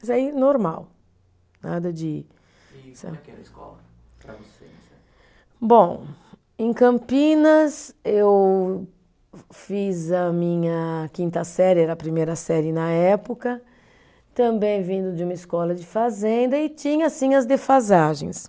Mas aí normal, nada de. escola para você .Bom, em Campinas eu fiz a minha quinta série, era a primeira série na época, também vindo de uma escola de fazenda e tinha, sim, as defasagens.